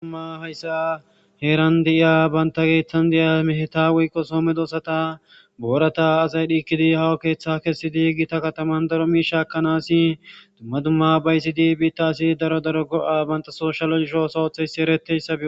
duma hayssa heeran diya banta geethtan diya meheta woykqo soomedosata boorata azaydhiikkidi hawa keeththa kessi di gita kataman daro miishaakanasi dumma dumma baysidi biittaasi daro daro go7a banta sooshaloisho sawotheyssi ereteyssabi